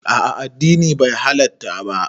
A'a addini bai halatta ba